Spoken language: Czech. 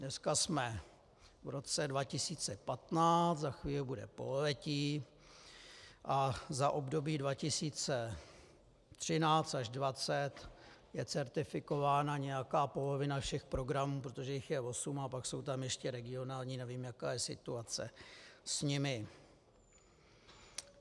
Dneska jsem v roce 2015, za chvíli bude pololetí, a za období 2013 až 2020 je certifikována nějaká polovina všech programů, protože jich je osm, a pak jsou tam ještě regionální, nevím, jaká je situace s nimi.